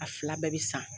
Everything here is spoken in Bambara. A fila bɛɛ bɛ san